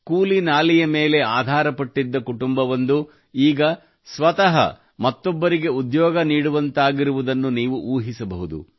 ಕೂಲಿ ನಾಲಿಯ ಮೇಲೆ ಆಧಾರಪಟ್ಟಿದ್ದ ಕುಟುಂಬವೊಂದು ಈಗ ಸ್ವತಃ ಮತ್ತೊಬ್ಬರಿಗೆ ಉದ್ಯೋಗ ನೀಡುವಂತಾಗಿರುವುದನ್ನು ನೀವು ಊಹಿಸಬಹುದು